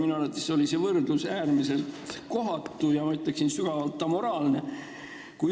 Minu arvates oli see võrdlus äärmiselt kohatu ja ma ütleksin, sügavalt amoraalne.